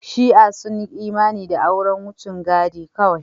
Shi'a sun yi imani da auren wucin gadi kawai.